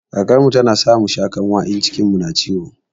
Karkarmu tana sa musha kanwa in cikinmu ya kumbura